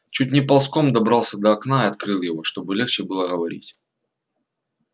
чуть не ползком добрался до окна и открыл его чтобы легче было говорить